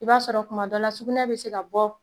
I b'a sɔrɔ kuma dɔ la sugunɛ be se ka bɔ